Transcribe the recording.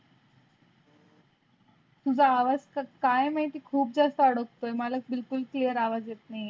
तुझा आवाज़ काय माहिती खुप जास्त अड़कतय मला बिल्कुल clear आवाज़ येत नाही.